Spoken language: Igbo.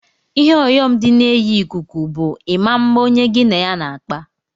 Ihe ọyọm di na enyi ikuku bu ima mma onye gi na ya n'akpa.